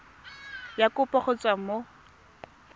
ya kopo go tswa mo